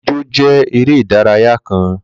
Ìjọ̀ jẹ̀ èrè idaraya kàn.